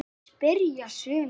spyrja sumir.